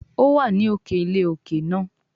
ó wà ní òkè ilé òkè náà.